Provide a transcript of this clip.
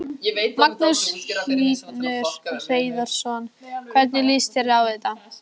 Magnús Hlynur Hreiðarsson: Hvernig líst þér á þetta?